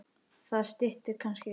Það styttir kannski upp.